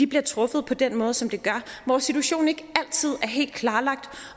bliver truffet på den måde som de gør hvor situationen ikke altid er helt klarlagt